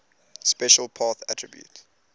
special path attribute